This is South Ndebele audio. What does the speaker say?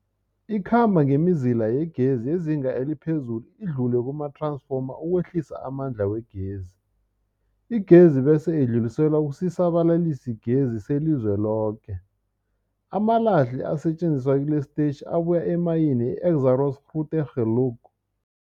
Ikhamba ngemizila yegezi yezinga eliphezulu idlule kumath-ransfoma ukwehlisa amandla wegezi. Igezi bese idluliselwa kusisa-balalisigezi selizweloke. Amalahle asetjenziswa kilesi sitetjhi abuya emayini yeExxaro's Grootegeluk.